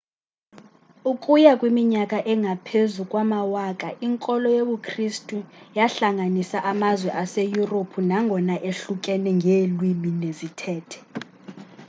ukuya kwiminyaka engaphezu kwamawaka inkolo yobu kristu yahlanganisa amazwe aseyurophu nangona ehlukene ngeelwini nezithethe